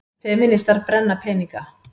Femínistar brenna peninga